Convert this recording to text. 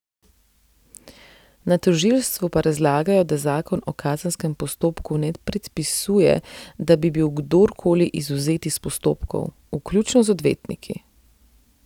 Na tožilstvu pa razlagajo, da zakon o kazenskem postopku ne predpisuje, da bi bil kdor koli izvzet iz postopkov, vključno z odvetniki.